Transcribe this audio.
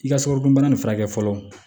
I ka sukarodunbana nin furakɛ fɔlɔ